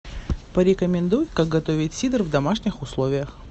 порекомендуй как готовить сидр в домашних условиях